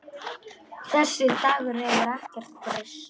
Þessi Dagur hefur ekkert breyst.